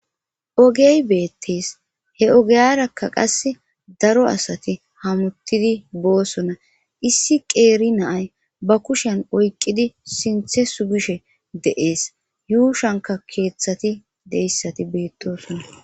Ogey beettes he ogeyarakka qass daro asati hamuttidi boosona issi qeeri naay ba kushen oyqqidi sinthe sugishe de7ees yuushanka keeththati deyssati beettoosona.